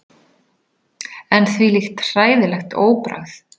En þvílíkt hræðilegt óbragð!